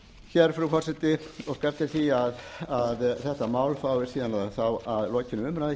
hér frú forseti óska eftir því að þetta mál fái síðan að lokinni umræðu